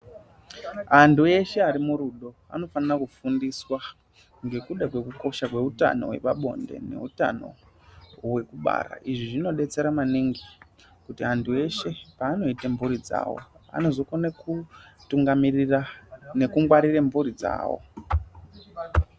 Antu eshe ari murudo anofanira kufundiswa ngekuda kwekukosha kweutano hwepabonde neutano hwekubara. Izvi zvinodetsera maningi kuti antu eshe paanoite mburi dzawo anozokone kutungamirira nekungwarire mburi dzawo.